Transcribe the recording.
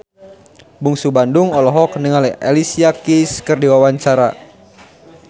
Bungsu Bandung olohok ningali Alicia Keys keur diwawancara